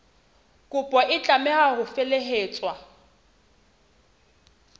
kopo e tlameha ho felehetswa